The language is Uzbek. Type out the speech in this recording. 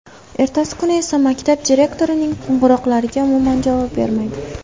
Ertasi kuni esa maktab direktorining qo‘ng‘iroqlariga umuman javob bermaydi.